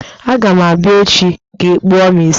Aga m abịa echi ka ịkpụọ m isi!